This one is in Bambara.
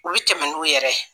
U bi tɛmɛ n'u yɛrɛ.